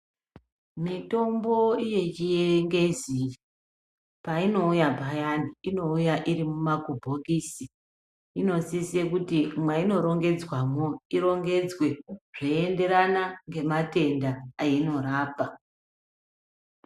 Mitombo yechingezi painouya payani unouya iri mumaku bhokisi inosise kuti mwaino rongedzwamo irongedzwe zveienderanana nematenda ainorapa